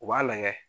U b'a lagɛ